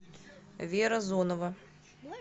вера зонова